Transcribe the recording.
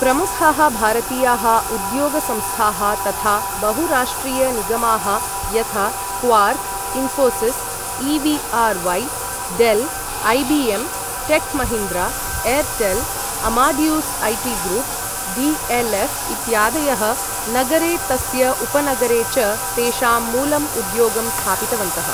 प्रमुखाः भारतीयाः उद्योग संस्थाः तथा बहुराष्ट्रीयनिगमाः यथा Quark, Infosys, EVRY., Dell, IBM Tech Mahindra, Airtel, Amadeus IT. Group, DLF. इत्यादयः नगरे तस्य उपनगरे च तेषां मूलम् उद्योगं स्थापितवन्तः।